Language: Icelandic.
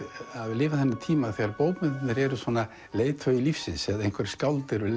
lifa þennan tíma þegar bókmenntirnar eru leiðtogi lífsins eða einhver skáld eru